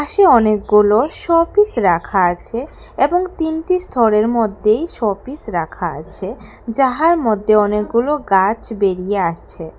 সে অনেকগুলো শপিস রাখা আছে এবং তিনটি স্থরের মধ্যেই শপিস রাখা আছে যাহার মধ্যে অনেকগুলো গাছ বেরিয়ে আসছে।